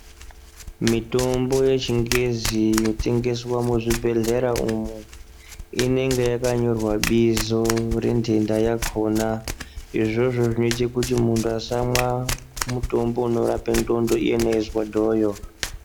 Mitombo yechingezi inotengeswe muzvibhehleya umo inenge yakanyorwa bizo rendenda yakona izvozvo zvinoita kuti muntu asamwa mutombo unorape ndxondo iyena eizwa dhoyo.